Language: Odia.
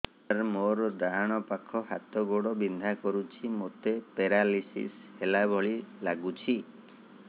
ସାର ମୋର ଡାହାଣ ପାଖ ହାତ ଗୋଡ଼ ବିନ୍ଧା କରୁଛି ମୋତେ ପେରାଲିଶିଶ ହେଲା ଭଳି ଲାଗୁଛି